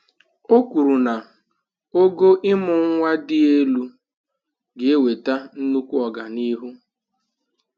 O kwuru na ogo ịmụ nwa dị elu ga-eweta nnukwu ọganihu.